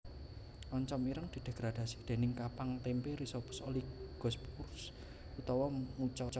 Oncom ireng didegradasi déning kapang témpé Rhizopus oligosporus utawa Mucor